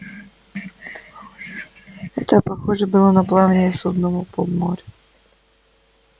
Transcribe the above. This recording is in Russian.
это похоже было на плавание судна по бурному морю